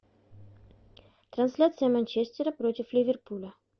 трансляция манчестера против ливерпуля